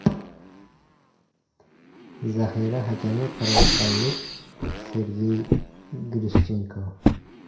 Zaxira hakami qirg‘izistonlik Sergey Grishchenko.